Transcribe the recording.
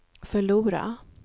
förlora